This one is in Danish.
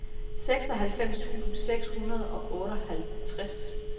seksoghalvfems tusind seks hundrede og otteoghalvtreds